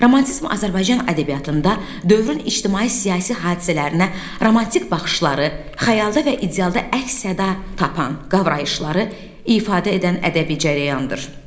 Romantizm Azərbaycan ədəbiyyatında dövrün ictimai-siyasi hadisələrinə romantik baxışları, xəyalda və idealda əks-səda tapan qavrayışları ifadə edən ədəbi cərəyandır.